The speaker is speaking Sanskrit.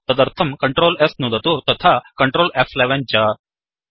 तदर्थं ctrl S नुदतु तथा Ctrl फ्11 च